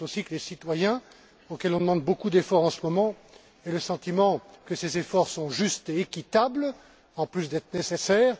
Il faut aussi que les citoyens auxquels on demande beaucoup d'efforts, en ce moment, aient le sentiment que ces efforts sont justes et équitables, en plus d'être nécessaires.